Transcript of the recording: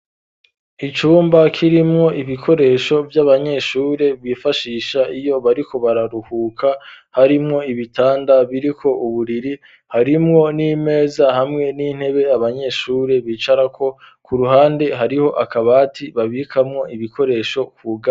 Icumba kirimwo ibikoresho vy'abanyeshuri bifashisha iyo bariko bararuhuka, harimwo ibitanda biriko uburiri, harimwo n'imeza hamwe n'intebe abanyeshuri bicarako, ku ruhande hariho akabati babikamwo ibikoresho kugaye.